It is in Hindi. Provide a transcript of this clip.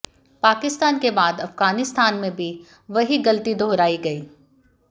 पाकिस्तान के बाद अफगानिस्तान में भी वही गलती दोहरायी गयी